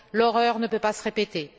L'horreur ne peut pas se répéter.